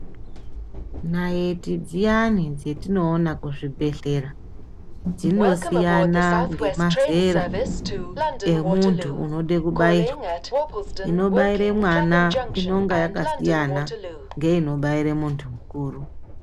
Nayiti dziyani dzatinoona kuzvibhedhlera, dzinosiyana ngemazera emuntu unode kubairwa. Inobaire mwana inonga yakasiyana ngeinobaire muntu mukuru.